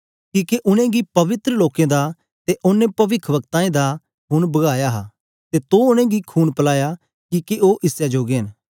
किके उनेंगी पवित्र लोकें दा ते औने पविखवक्ताऐं दा खून भाया हा ते तो उनेंगी खून पलाया किके ओ इसै जोगे न